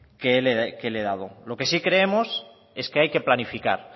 que le he dado lo que sí creemos es que hay que planificar